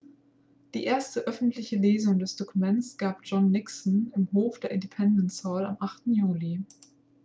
die erste öffentliche lesung des dokuments gab john nixon im hof der independence hall am 8. juli